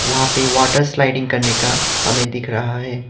वहां पे water sliding करने का हमें दिख रहा है।